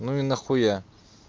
ну и нахуя